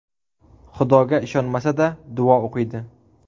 Xudoga ishonmasa-da, duo o‘qiydi.